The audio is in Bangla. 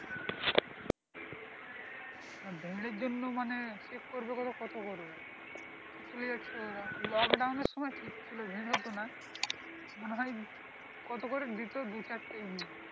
হ্যাঁ ভিড় আর জন্য মানে check করবে তো কত করবে lockdown এর সময় ঠিক ছিল ভিড় হত না মনে হয় কত করে দিত দু চারটে